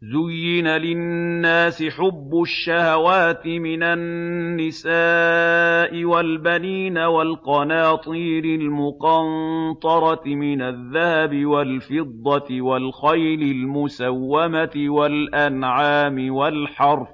زُيِّنَ لِلنَّاسِ حُبُّ الشَّهَوَاتِ مِنَ النِّسَاءِ وَالْبَنِينَ وَالْقَنَاطِيرِ الْمُقَنطَرَةِ مِنَ الذَّهَبِ وَالْفِضَّةِ وَالْخَيْلِ الْمُسَوَّمَةِ وَالْأَنْعَامِ وَالْحَرْثِ ۗ